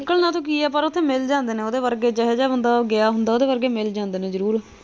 ਨਿਕਲ ਨਾ ਤਾਂ ਓਥੇ ਕੀ ਐ ਪਰ ਓਥੇ ਮਿਲ ਜਾਂਦੇ ਨੇ ਉਹਦੇ ਵਰਗੇ ਜੋ ਹੋ ਜੇਹਾ ਉਹ ਗਿਆ ਹੁੰਦਾ ਹੈ ਉਹਦੇ ਵਰਗੇ ਮਿਲ ਜਾਂਦੇ ਨੇ ਜ਼ਰੂਰ।